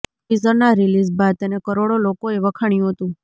ટીઝરના release બાદ તેને કરોડો લોકોએ વખાણ્યું હતું